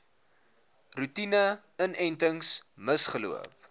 roetine inentings misgeloop